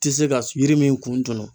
Ti se ka yiri min kun tunu